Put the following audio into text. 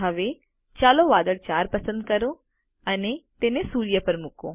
હવે ચાલો વાદળ 4 પસંદ કરો અને તેને સૂર્ય પર મૂકો